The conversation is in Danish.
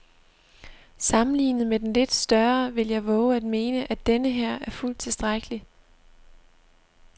Sammenlignet med den lidt større vil jeg vove at mene, at denneher er fuldt tilstrækkelig.